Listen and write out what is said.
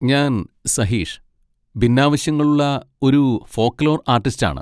ഞാൻ സഹീഷ്, ഭിന്നാവശ്യങ്ങളുള്ള ഒരു ഫോക്ക് ലോർ ആർട്ടിസ്റ്റാണ്.